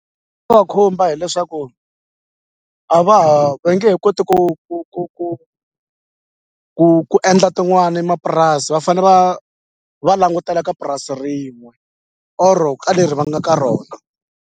khumba hileswaku a va ha ve nge he koti ku ku ku ku ku ku endla tin'wani mapurasi va fane va va langutela ka purasi rin'we or ka leri va nga ka rona.